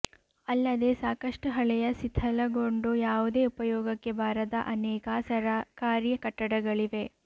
ಅಲ್ಲದೆ ಸಾಕಷ್ಟು ಹಳೆಯ ಸಿಥಲಗೊಂಡು ಯಾವುದೇ ಉಪಯೋಗಕ್ಕೆ ಬಾರದ ಅನೇಕ ಸರಕಾರಿ ಕಟ್ಟಡಗಳಿವೆ